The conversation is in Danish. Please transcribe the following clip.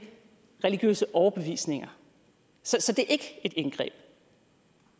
religiøse overbevisninger så det er ikke et indgreb